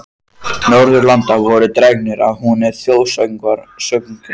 Norðurlanda voru dregnir að húni og þjóðsöngvar sungnir.